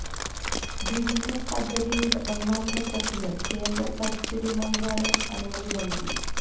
വിഴിഞ്ഞം പദ്ധതിയുടെ ഒന്നാം ഘട്ടത്തിന് കേന്ദ്ര പരിസ്ഥിതി മന്ത്രാലയം അനുമതി നല്കി